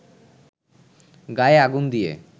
গায়ে আগুন দিয়ে